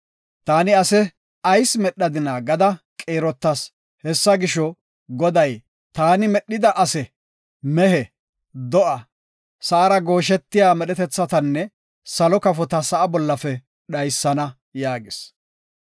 Taani ase ayis medhadina gada qiirotas. Hessa gisho, Goday, “Taani medhida ase, mehe, do7a, sa7ara gooshetiya medhetethatanne salo kafota sa7a bollafe dhaysana” yaagis.